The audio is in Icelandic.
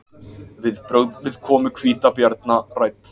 Viðbrögð við komu hvítabjarna rædd